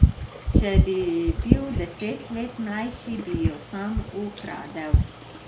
Če bi bil deset let mlajši, bi jo sam ukradel.